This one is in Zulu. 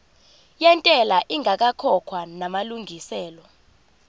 yentela ingakakhokhwa namalungiselo